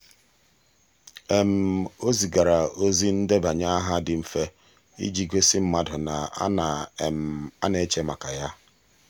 o zigara ozi ndebanye aha dị mfe iji gosi mmadụ na a na a na-eche maka ya.